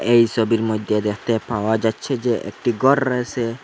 এই ছবির মধ্যে দেখতে পাওয়া যাচ্ছে যে একটি ঘর-র আছে।